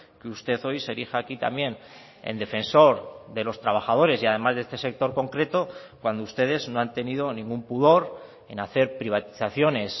que usted hoy se erija aquí también en defensor de los trabajadores y además de este sector concreto cuando ustedes no han tenido ningún pudor en hacer privatizaciones